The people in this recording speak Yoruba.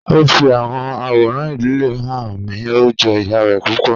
O fi awọn aworan idile wọn han mi, o jọ iya rẹ pupọ.